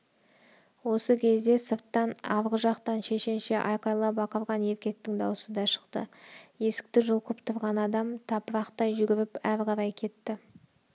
осы кезде сырттан арғы жақтан шешенше айқайлап ақырған еркектің даусы да шықты есікті жұлқып тұрған адам тапырақтай жүгіріп ары қарай кетті